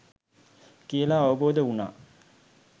කියලා අවබෝධ වුනා